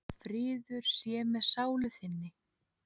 Friður sé með sálu þinni.